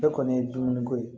Ne kɔni ye dumuniko ye